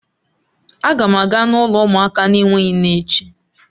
Aga m aga n'ụlọ umuaka n'enweghi nne echi